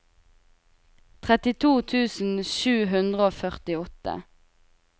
trettito tusen sju hundre og førtiåtte